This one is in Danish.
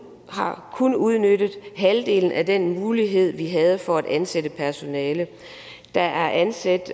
har kun udnyttet halvdelen af den mulighed vi havde for at ansætte personale der er ansat